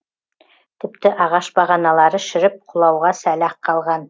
тіпті ағаш бағаналары шіріп құлауға сәл ақ қалған